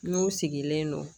N'u sigilen don